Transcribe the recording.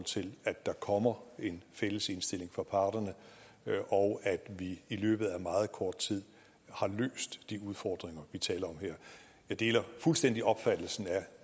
til at der kommer en fælles indstilling fra parterne og at vi i løbet af meget kort tid har løst de udfordringer vi taler om her jeg deler fuldstændig opfattelsen